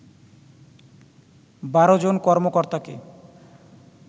১২ জন কর্মকর্তাকে